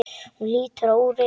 Hún lítur á úrið.